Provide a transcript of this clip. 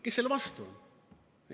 Kes selle vastu on?